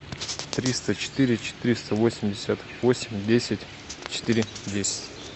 триста четыре четыреста восемьдесят восемь десять четыре десять